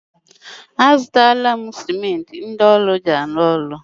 A zụtala m simenti ndị ọrụ ji arụ ọrụ.